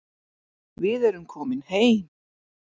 Við erum komin heim